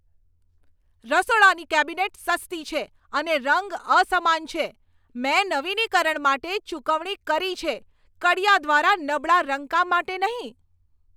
રસોડાની કેબિનેટ સસ્તી છે અને રંગ અસમાન છે. મેં નવીનીકરણ માટે ચૂકવણી કરી છે, કડિયા દ્વારા નબળા રંગકામ કામ માટે નહીં!